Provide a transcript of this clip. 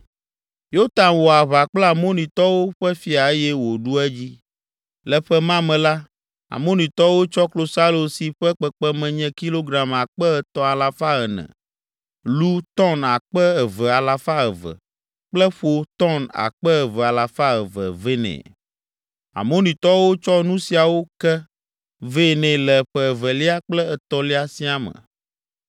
Yotam wɔ aʋa kple Amonitɔwo ƒe fia eye wòɖu edzi. Le ƒe ma me la, Amonitɔwo tsɔ klosalo si ƒe kpekpeme nye kilogram akpe etɔ̃ alafa ene (3,400), lu tɔn akpe eve alafa eve (2,200) kple ƒo tɔn akpe eve alafa eve (2,200) vɛ nɛ. Amonitɔwo tsɔ nu siawo ke vɛ nɛ le ƒe evelia kple etɔ̃lia siaa me.